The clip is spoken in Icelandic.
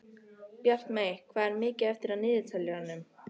Bjartmey, hvað er mikið eftir af niðurteljaranum?